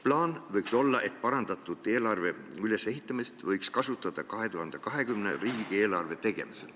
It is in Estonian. Plaan võiks olla, et parandatud eelarve ülesehitust võiks kasutada 2020. aasta riigieelarve tegemisel.